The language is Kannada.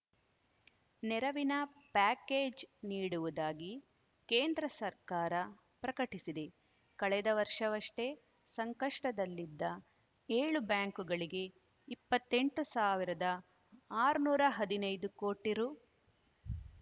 ನೆರವಿನ ಪ್ಯಾಕೇಜ್‌ ನೀಡುವುದಾಗಿ ಕೇಂದ್ರ ಸರ್ಕಾರ ಪ್ರಕಟಿಸಿದೆ ಕಳೆದ ವರ್ಷವಷ್ಟೇ ಸಂಕಷ್ಟದಲ್ಲಿದ್ದ ಏಳು ಬ್ಯಾಂಕುಗಳಿಗೆ ಇಪ್ಪತ್ತೆಂಟು ಆರುನೂರ ಹದನೈದು ಕೋಟಿ ರು